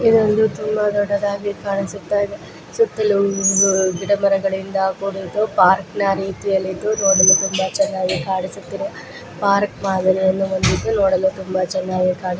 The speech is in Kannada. ಇದೊಂದು ತುಂಬಾ ದೊಡ್ಡದಾಗಿ ಕಾಣಿಸುತ್ತಾ ಇದೆ ಸುತ್ತಲುಗಿ ಗಿಡಮರಗಳಿಂದ ಕುಡಿದ್ದು ಪಾರ್ಕ ನ ರಿತುಯಲ್ಲಿದ್ದು ನೊಡಲು ತುಂಬಾ ಚೆನ್ನಾಗಿ ಕಾಣಿಸುತ್ತಿರುವ ಪಾರ್ಕ ನೊಡಲು ತುಂಬಾ ಚೆನ್ನಾಗಿ ಕಾಣಿ --